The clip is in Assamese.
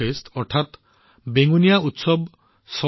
এই অনুষ্ঠানটো গোৱা বেঙুনীয়া উৎসৱত অনুষ্ঠিত হৈছিল